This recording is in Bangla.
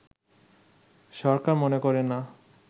সরকার মনে করে না